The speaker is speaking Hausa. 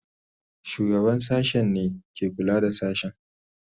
Shugaban sashen ne ke kula da sashen.